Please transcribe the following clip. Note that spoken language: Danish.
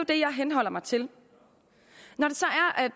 det jeg henholder mig til når